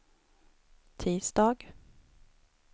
tisdag